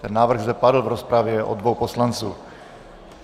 Ten návrh zde padl v rozpravě od dvou poslanců.